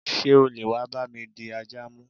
Sé o leè wa bá mi di ajà mu?